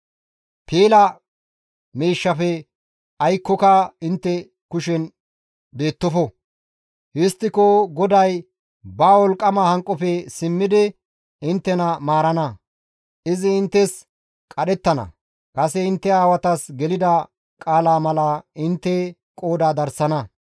Piila miishshafe aykkoyka intte kushen beettofo; histtiko GODAY ba wolqqama hanqofe simmidi inttena maarana; izi inttes qadhettana; kase intte aawatas gelida qaala mala intte qooda darsana.